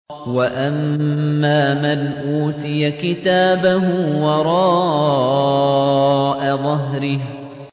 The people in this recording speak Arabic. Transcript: وَأَمَّا مَنْ أُوتِيَ كِتَابَهُ وَرَاءَ ظَهْرِهِ